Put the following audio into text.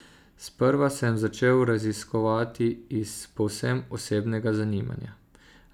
Sprva sem začel raziskovati iz povsem osebnega zanimanja.